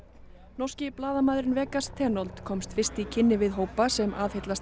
norski blaðamaðurinn Vegas komst fyrst í kynni við hópa sem aðhyllast